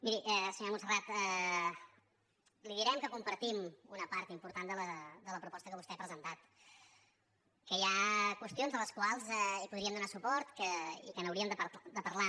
miri senyora montserrat li direm que compartim una part important de la proposta que vostè ha presentat que hi ha qüestions a les quals podríem donar suport i que n’hauríem de parlar